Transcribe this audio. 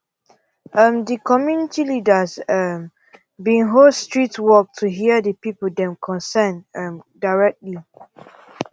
um the community leaders um been host street walk to hear the people dem concern um directly